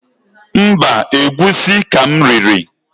Mbaǃ Egwusi ka m riri.